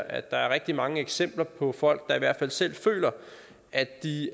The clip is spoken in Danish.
at der er rigtig mange eksempler på folk der i hvert fald selv føler at de